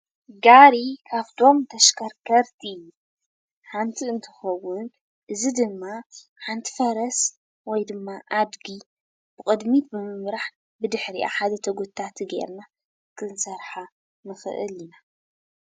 ጋሪ ካብቶም ተሽከርከርቲ ሓንቲ እንትኸውን እዚ ድማ ሓንቲ ፈረስ ወይ ድማ ኣድጊ ብቕድሚት ብምምራሕ ብድሕሪኣ ሓደ ተጐታቲ ገይርና ክንሰርሓ ንኽእል ኢና፡፡